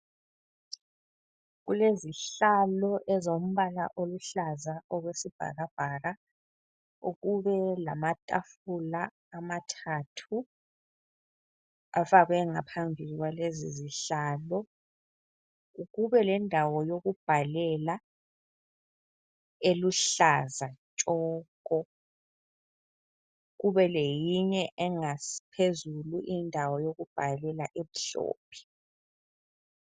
Kulezihlalo ezombala oluhlaza okwesibhakabhaka ,kube lamatafula amathathu afakwe ngaphambi kwalezi zihlalo ,kube lendawo yokubhalela eluhlaza tshoko. Kube leyinye engaphezulu indawo yokubhalela emhlophe.